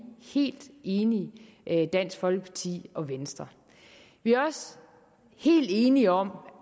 helt enige dansk folkeparti og venstre vi er også helt enige om